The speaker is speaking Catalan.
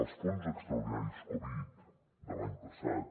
els fons extraordinaris covid de l’any passat